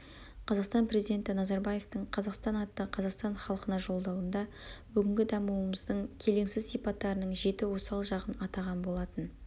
қазақстан президенті назарбаевтің қазақстан атты қазақстан халқына жолдауында бүгінгі дамуымыздың келеңсіз сипаттарының жеті осал жағын атаған болатын